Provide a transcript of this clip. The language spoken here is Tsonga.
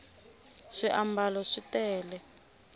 swiambalo swi tele